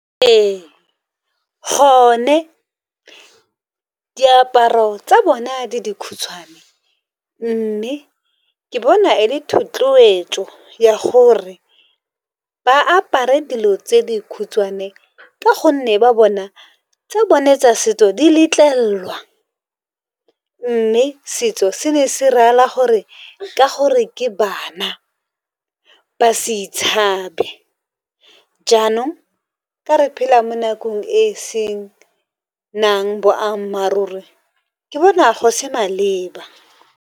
Ee gone diaparo tsa bona di dikhutshwane mme ke bona e le thotloetšo ya gore ba apare dilo tse dikhutshwane ka gonne ba bona tsa bone tsa setso di letlellwa mme setso se ne se reela gore ka gore ke bana ba se itshabe jaanong ka re phela mo nakong e e senang boammaaruri ke bona go se maleba.